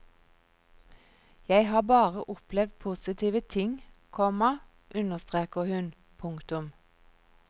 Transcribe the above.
Jeg har bare opplevd postive ting, komma understreker hun. punktum